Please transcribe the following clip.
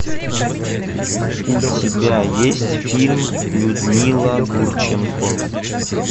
у тебя есть фильм людмила гурченко